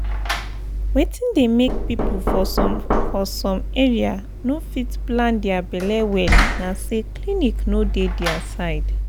wetin dey make people for some for some area no fit plan their belle well na say clinic no dey near dia side.